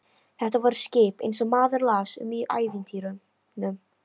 Þetta voru skip eins og maður las um í ævintýrunum.